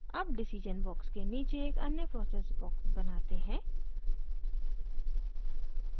अब decision box के नीचे एक अन्य process box बनाते हैं